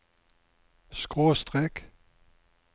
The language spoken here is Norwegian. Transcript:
skråstrek